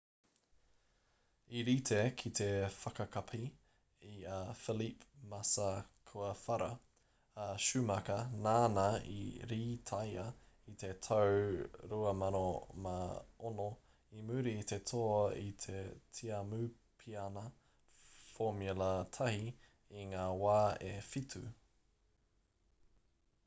i rite ki te whakakapi i a felipe massa kua whara a schumacher nāna i rītaia i te tau 2006 i muri i te toa i te tiamupiana formula 1 i ngā wā e whitu